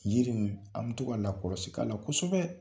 Yiri min an bɛ to ka lakɔsi k'a la kosɛbɛ.